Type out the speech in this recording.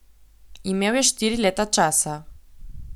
Imel je štiri leta časa.